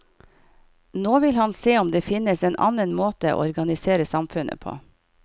Nå vil han se om det finnes en annen måte å organisere samfunnet på.